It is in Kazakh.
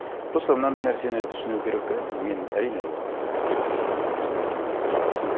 просто мынандай нәрсені түсіну керек те мынау менің әрине ол опять таки субъективный көзқарасым